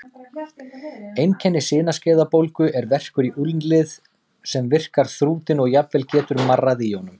Einkenni sinaskeiðabólgu er verkur í úlnlið sem virkar þrútinn og jafnvel getur marrað í honum.